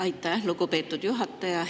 Aitäh, lugupeetud juhataja!